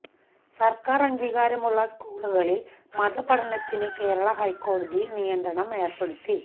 സര്ക്കാര് അംഗീകാരമുള്ള സ്കൂളുകളില് മതപഠനത്തിന് കേരള ഹൈക്കോടതി നിയന്ത്രണം ഏര്പ്പെടുത്തി